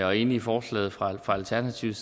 og enige i forslaget fra alternativet